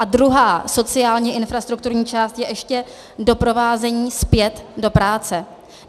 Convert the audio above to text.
A druhá sociálně infrastrukturní část je ještě doprovázení zpět do práce.